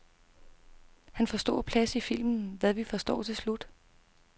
Han får stor plads i filmen, hvad vi forstår til slut.